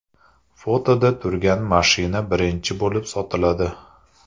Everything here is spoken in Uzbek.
Fotoda turgan mashina birinchi bo‘lib sotiladi.